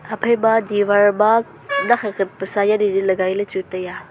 haphai ma diwar ma nak khat khat pasa jadi jadi lagai le chu tai a.